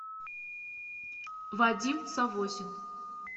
вадим савосин